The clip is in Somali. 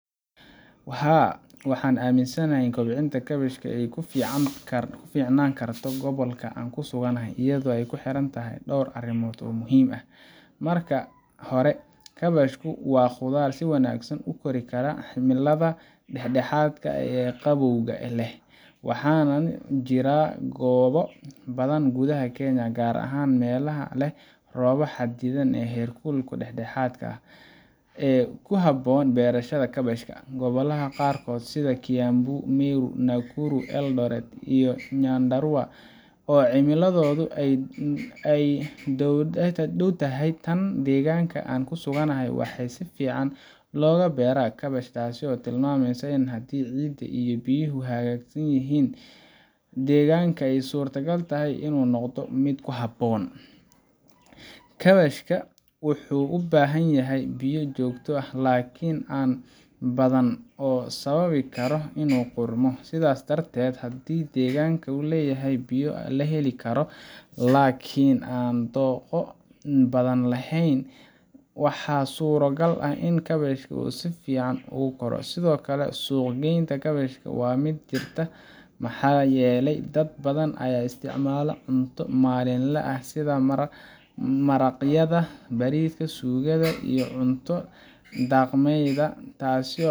Haa, waxaan aaminsanahay in kobcinta kaabashka ay ku fiicnaan karto gobolka aan ku suganahay, iyadoo ay ku xiran tahay dhowr arrimood oo muhiim ah. Marka hore, kaabashku waa khudaar si wanaagsan u kori karta cimilada dhexdhexaadka ah ee qabowga leh, waxaana jira goobo badan gudaha Kenya gaar ahaan meelaha leh roob xadidan iyo heerkul dhexdhexaad ah — oo ku habboon beerashada kaabashka. Gobolada qaarkood sida Kiambu, Meru, Nakuru, Eldoret, iyo Nyandarua, oo cimiladooda ay u dhowdahay tan deegaanka aan ku suganahay, waxaa si fiican looga beeraa kaabash, taas oo tilmaamaysa in haddii ciidda iyo biyuhu hagaagsan yihiin, deegaanka ay suurtagal tahay inuu noqdo mid ku habboon. Kaabashka wuxuu u baahan yahay biyo joogto ah laakiin aan badan oo sababi kara inuu qudhmo. Sidaas darteed, haddii deegaanka uu leeyahay biyo la heli karo laakiin aan dhooqo badan lahayn, waxaa suurtogal ah in kaabashka si fiican ugu koro. Sidoo kale, suuq-geynta kaabashka waa mid jirta maxaa yeelay dad badan ayaa u isticmaala cunto maalinle ah sida maraqyada, bariiska, suugada, iyo cunto dhaqameedyada. Taasi